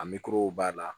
A moriw b'a la